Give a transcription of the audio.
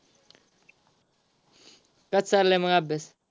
कसा चाललाय मग अभ्यास.